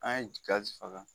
An ye faga